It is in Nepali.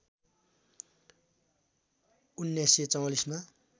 १९४४ मा